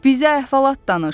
Bizə əhvalat danış.